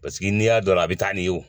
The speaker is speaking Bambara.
Paseke n'i y'a don a la a bɛ taa nin ye o